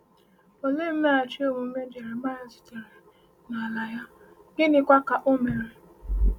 Olee mmeghachi omume Jeremaịa zutere n’ala ya, gịnịkwa ka o mere?